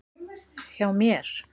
Hjá mér.